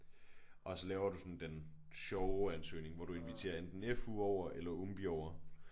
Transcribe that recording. Og så laver du sådan den sjove ansøgning hvor du inviterer enten FU over eller ungby over